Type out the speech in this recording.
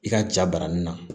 I ka ja baranin na